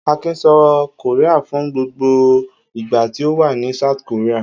Akin sọ Korea fún gbogbo ìgbà tí ó wà ní South Korea.